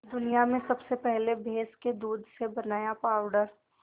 दुनिया में सबसे पहले भैंस के दूध से बनाया पावडर